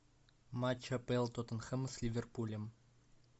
матч апл тоттенхэма с ливерпулем